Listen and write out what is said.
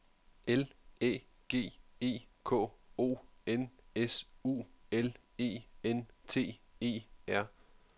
L Æ G E K O N S U L E N T E R